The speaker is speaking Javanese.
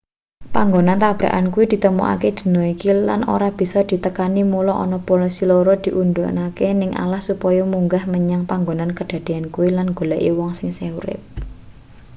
panggonan tabrakan kuwi ditemokake dina iki lan ora bisa ditekani mula ana polisi loro diudhunake ning alas supaya munggah menyang panggonan kadadeyan kuwi lan nggoleki uwong sing isih urip